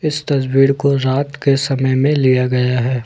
इस तस्वीर को रात के समय में लिया गया है।